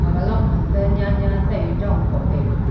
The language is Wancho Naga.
aga long ham to nyan nyan tai dong po taiga.